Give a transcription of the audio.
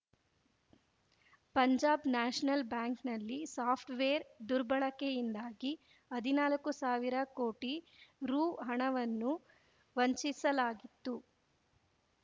Punjab National ಬ್ಯಾಂಕ್‌ನಲ್ಲಿ software ದುರ್ಬಳಕೆಯಿಂದಾಗಿ ಹದಿನಾಲಕ್ಕೂ ಸಾವಿರ ಕೋಟಿ ರೂಹಣವನ್ನು ವಂಚಿಸಲಾಗಿತ್ತು